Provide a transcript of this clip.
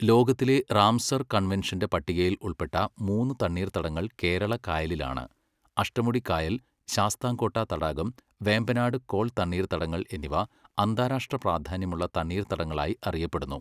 ലോകത്തിലെ റാംസർ കൺവെൻഷന്റെ പട്ടികയിൽ ഉൾപ്പെട്ട മൂന്ന് തണ്ണീർത്തടങ്ങൾ കേരള കായലിലാണ്, അഷ്ടമുടിക്കായൽ, ശാസ്താംകോട്ട തടാകം, വേമ്പനാട് കോൾ തണ്ണീർത്തടങ്ങൾ എന്നിവ അന്താരാഷ്ട്ര പ്രാധാന്യമുള്ള തണ്ണീർത്തടങ്ങളായി അറിയപ്പെടുന്നു.